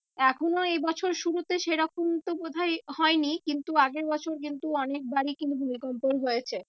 এখনো এ বছর শুরুতে সে রকম তো বোধ হয় হয়নি কিন্তু আগের বছর কিন্তু অনেকবারই কিন্তু ভূমিকম্পন হয়েছে।